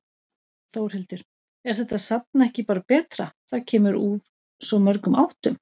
Þórhildur: Er þetta safn ekki bara betra, það kemur úr svo mörgum áttum?